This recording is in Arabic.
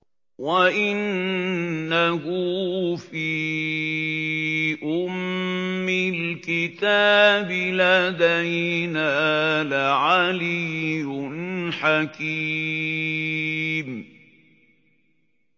وَإِنَّهُ فِي أُمِّ الْكِتَابِ لَدَيْنَا لَعَلِيٌّ حَكِيمٌ